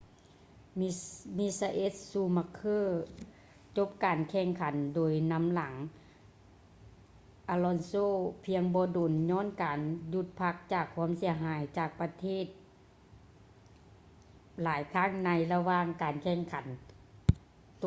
ມິຊາເອລ໌ ຊູມັກເຄີ michael schumacher ຈົບການແຂ່ງຂັນໂດຍນຳຫຼັງ alonso ພຽງບໍ່ດົນ ຍ້ອນການຢຸດພັກຈາກຄວາມເສຍຫາຍຈາກການປະທະຫຼາຍຄັ້ງໃນລະຫວ່າງການແຂ່ງຂັນ